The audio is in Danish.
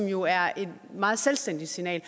jo er et meget selvstændigt signal